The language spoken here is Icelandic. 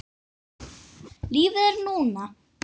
Lífið er núna.